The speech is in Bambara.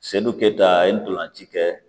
keta ntolan ci kɛ